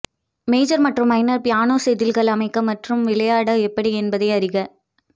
major மற்றும் minor piano செதில்கள் அமைக்க மற்றும் விளையாட எப்படி என்பதை அறிக